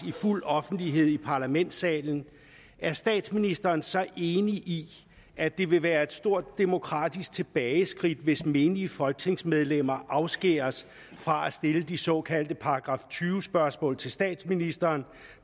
i fuld offentlighed i parlamentssalen er statsministeren så enig i at det vil være et stort demokratisk tilbageskridt hvis menige folketingsmedlemmer afskæres fra at stille de såkaldte § tyve spørgsmål til statsministeren